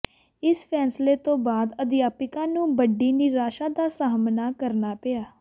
ਇਸ ਫੈਸਲੇ ਤੋਂ ਬਾਅਦ ਅਧਿਆਪਕਾਂ ਨੂੰ ਵੱਡੀ ਨਿਰਾਸ਼ਾ ਦਾ ਸਾਹਮਣਾ ਕਰਨਾ ਪਿਆ